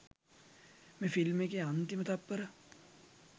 මේ ෆිල්ම් එකේ අන්තිම තත්පර